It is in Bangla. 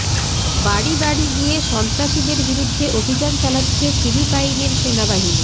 বাড়ি বাড়ি গিয়ে সন্ত্রাসীদের বিরুদ্ধে অভিযান চালাচ্ছে ফিলিপাইনের সেনাবাহিনী